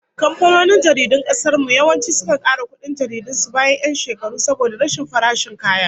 Kamfanonin jaridun kasar mu yawanci sukan kara kudin jaridun su bayan 'yan shekaru saboda rashin farashin kaya